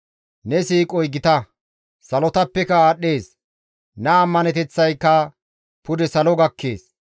Ne siiqoy gita; salotappeka aadhdhees. Ne ammaneteththayka pude salo gakkees.